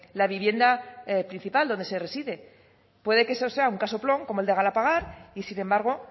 la vivienda principal donde se reside puede que eso sea un casoplón como el de galapagar y sin embargo